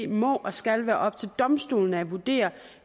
må og skal være op til domstolene at vurdere